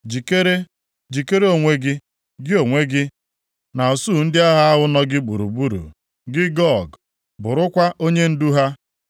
“ ‘Jikere! Jikere onwe gị, gị onwe gị na usuu ndị agha ahụ nọ gị gburugburu, gị Gog, bụrụkwa onyendu ha.